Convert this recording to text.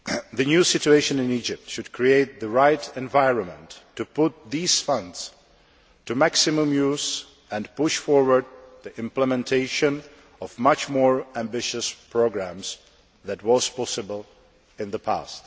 The new situation in Egypt should create the right environment to put these funds to maximum use and push forward the implementation of much more ambitious programmes than was possible in the past.